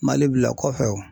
Mali bila kɔfɛ o.